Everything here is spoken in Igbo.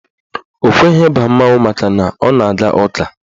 Ọ kweghị ịba mmanwụ makana ọ na-aga ụka.